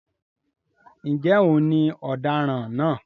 ǹjẹ́ òun ni òdaran náà?